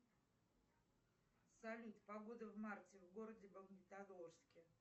салют погода в марте в городе магнитогорске